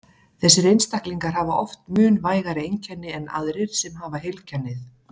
Þessir einstaklingar hafa oft mun vægari einkenni en aðrir sem hafa heilkennið.